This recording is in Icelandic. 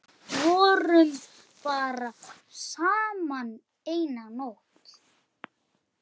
Vorum bara saman eina nótt.